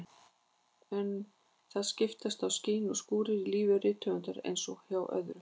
En það skiptast á skin og skúrir í lífi rithöfundar eins og hjá öðrum.